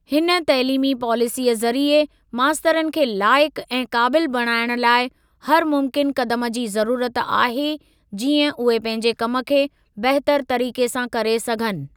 हिन तइलीमी पॉलिसीअ ज़रीए मास्तरनि खे लाइकु ऐं क़ाबिल बणाइण लाइ हर मुमकिन क़दम जी ज़रूरत आहे, जीअं उहे पंहिंजे कम खे बहितर तरीक़े सां करे सघनि।